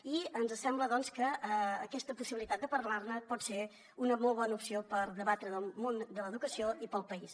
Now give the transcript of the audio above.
i ens sembla doncs que aquesta possibilitat de parlar ne pot ser una molt bona opció per debatre del món de l’educació i per al país